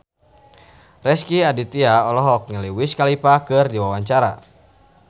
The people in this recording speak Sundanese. Rezky Aditya olohok ningali Wiz Khalifa keur diwawancara